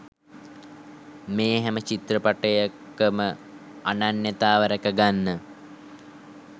මේ හැම චිත්‍රපටයකම අනන්‍යතාවය රැක ගන්න